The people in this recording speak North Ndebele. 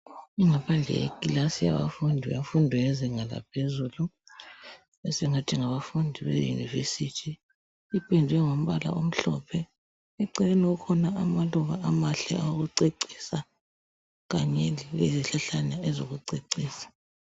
Ingaphandle yeklasi yabafundi bemfundo yezinga laphezulu sengathi ngabafundi beyunivesithi. Ipendwe ngombala omhlophe. Eceleni kukhona amaluba amahle awokucecisa kanye lezihlahlana ezokucecisa